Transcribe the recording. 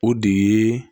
O de ye